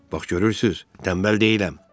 Bax görürsüz, tənbəl deyiləm.